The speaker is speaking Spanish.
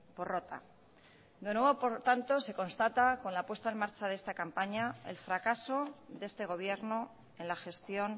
porrota de nuevo por tanto se constata con la puesta en marcha de esta campaña el fracaso de este gobierno en la gestión